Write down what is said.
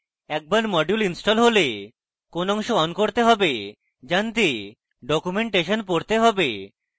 একবার module install হলে কোন অংশ on করতে হবে জানতে documentation পড়তে হবে